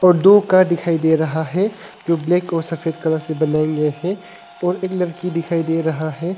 दो कार दिखाई दे रहा है जो ब्लैक और सफेद कलर से बनाए गये हैं और एक लड़की दिखाई दे रहा है।